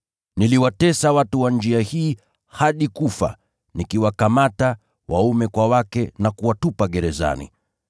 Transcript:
Niliwatesa watu wa Njia hii hadi kufa, nikiwakamata waume kwa wake na kuwatupa gerezani,